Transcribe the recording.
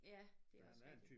Ja det er også rigtigt